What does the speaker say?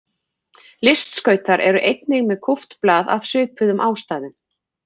Listskautar eru einnig með kúpt blað af svipuðum ástæðum.